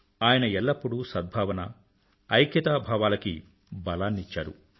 ఆయన ఎల్లప్పుడూ సద్భావన ఐక్యత భావాలకి బలాన్నిచ్చారు